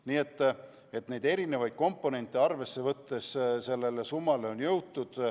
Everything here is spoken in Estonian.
Nii et kõiki neid komponente arvesse võttes on sellise summani jõutud.